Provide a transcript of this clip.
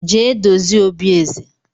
Jee dozie obi eze!